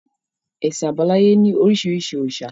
Ẹṣin àbáláyé ni orísirísi òrìṣà